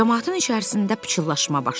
Camaatın içərisində pıçıllaşma başladı.